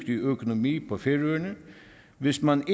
økonomi på færøerne hvis man